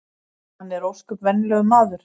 Hann er ósköp venjulegur maður